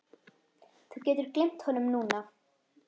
Þú getur gleymt honum núna